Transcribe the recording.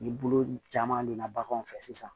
Ni bolo caman donna baganw fɛ sisan